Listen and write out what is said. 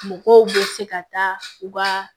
Mɔgɔw bɛ se ka taa u ka